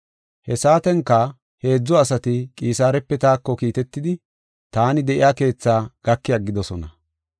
He saatenka heedzu asati Qisaarepe taako kiitetidi taani de7iya keetha gaki aggidosona.